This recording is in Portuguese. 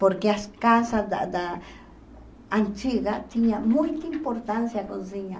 Porque as casas da da antigas tinham muita importância a cozinha.